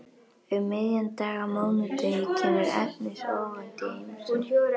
Um miðjan dag á mánudegi kemur Agnes óvænt í heimsókn.